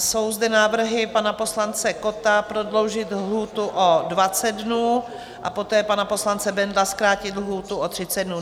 Jsou zde návrhy pana poslance Kotta prodloužit lhůtu o 20 dnů, a poté pana poslance Bendla zkrátit lhůtu o 30 dnů.